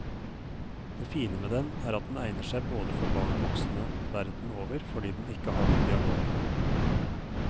Det fine med den er at den egner seg både for barn og voksne verden over fordi den ikke har noen dialog.